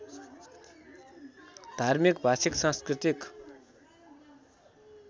धार्मिक भाषिक सांस्कृतिक